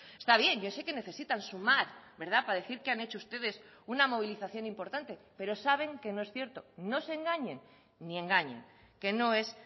está bien yo sé que necesitan sumar para decir que han hecho ustedes una movilización importante pero saben que no es cierto no se engañen ni engañen que no es